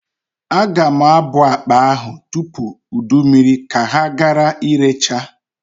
Aga m abụa akpa ahụ tupu ụdụ mmiri ka ha gara irecha.